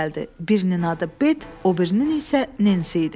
Birinin adı Bet, o birinin isə Nensi idi.